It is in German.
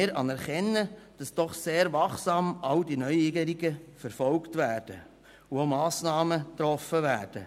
Wir anerkennen, dass all diese Neuerungen doch sehr wachsam verfolgt und auch Massnahmen getroffen werden.